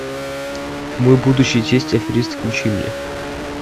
мой будущий тесть аферист включи мне